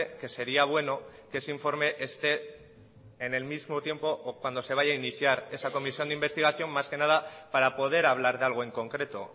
que sería bueno que ese informe esté en el mismo tiempo o cuando se vaya a iniciar esa comisión de investigación más que nada para poder hablar de algo en concreto